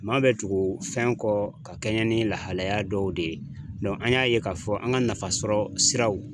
Maa bɛ tugu fɛn kɔ ka kɛɲɛ ni lahalaya dɔw de ye an y'a ye k'a fɔ an ka nafasɔrɔ siraw